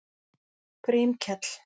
Grímkell